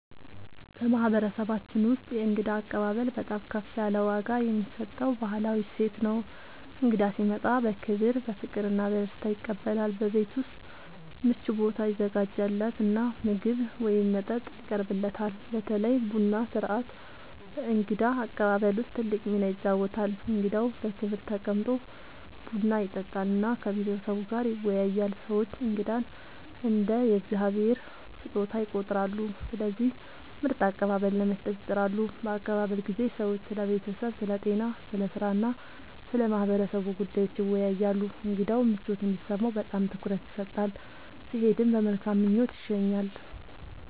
በማህበረሰባችን ውስጥ የእንግዳ አቀባበል በጣም ከፍ ያለ ዋጋ የሚሰጠው ባህላዊ እሴት ነው። እንግዳ ሲመጣ በክብር፣ በፍቅር እና በደስታ ይቀበላል፤ በቤት ውስጥ ምቹ ቦታ ይዘጋጃለት እና ምግብ ወይም መጠጥ ይቀርብለታል። በተለይ ቡና ሥርዓት በእንግዳ አቀባበል ውስጥ ትልቅ ሚና ይጫወታል፣ እንግዳው በክብር ተቀምጦ ቡና ይጠጣል እና ከቤተሰቡ ጋር ይወያያል። ሰዎች እንግዳን እንደ “የእግዚአብሔር ስጦታ” ይቆጥራሉ፣ ስለዚህ ምርጥ አቀባበል ለመስጠት ይጥራሉ። በአቀባበል ጊዜ ሰዎች ስለ ቤተሰብ፣ ስለ ጤና፣ ስለ ሥራ እና ስለ ማህበረሰቡ ጉዳዮች ይወያያሉ። እንግዳው ምቾት እንዲሰማው በጣም ትኩረት ይሰጣል፣ ሲሄድም በመልካም ምኞት ይሸኛል።